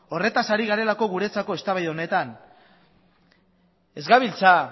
horretaz ari garelako guretzako eztabaida horretan ez gabiltza